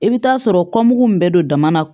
I bɛ taa sɔrɔ kɔnbugu min bɛ don dama na